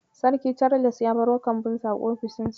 Sarki Charles ya baro kambunsa a ofishinsa.